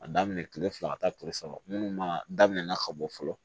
A daminɛ kile fila ka taa kile saba munnu ma daminɛna ka bɔ fɔlɔ